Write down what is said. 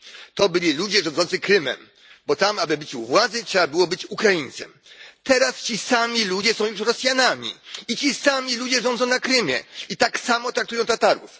To byli ludzie rządzący Krymem, bo tam, aby być u władzy, trzeba było być Ukraińcem. Teraz ci sami ludzie są już Rosjanami i ci sami ludzie rządzą na Krymie i tak samo traktują Tatarów.